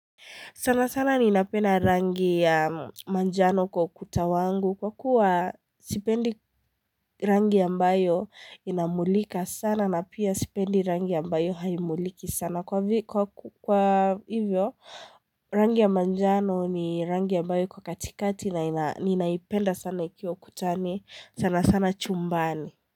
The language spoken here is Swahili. Sana sana ninapenda rangi ya manjano kwa ukuta wangu kwa kuwa sipendi rangi ambayo inamulika sana na pia sipendi rangi ya mbayo haimuliki sana. Kwa hivyo rangi ya manjano ni rangi ya ambayo iko katikati na ninaipenda sana ikiwa kutani sana sana chumbani.